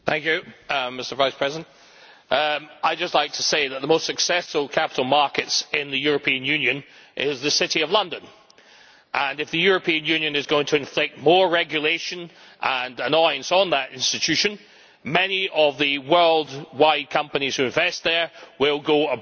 Mr President, I would just like to say that the most successful capital market in the European Union is the City of London, and if the European Union is going to inflict more regulation and annoyance on that institution, many of the world wide companies who invest there will go abroad.